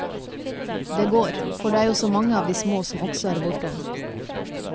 Det går, for det er jo så mange av de små som også er borte.